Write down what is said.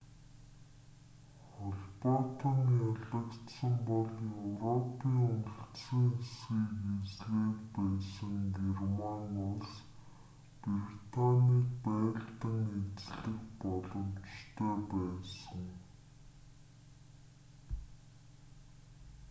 холбоотон ялагдсан бол европын үлдсэн хэсгийг эзлээд байсан герман улс британийг байлдан эзлэх боломжтой байсан